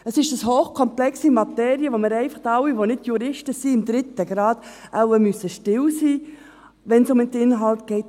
Es ist eine hochkomplexe Materie, zu welche wir alle, die wir nicht Juristen sind, im dritten Grad, einfach still sein müssen, wenn es um den Inhalt geht.